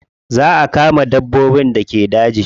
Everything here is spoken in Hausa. Za a kama dabbobin da ke daji.